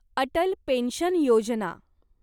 Atal pension Yojana